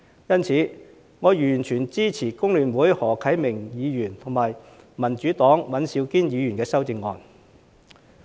因此，我完全支持工聯會的何啟明議員和民主黨的尹兆堅議員的修正案。